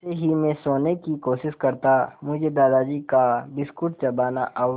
जैसे ही मैं सोने की कोशिश करता मुझे दादाजी का बिस्कुट चबाना और